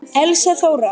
Elsa Þóra.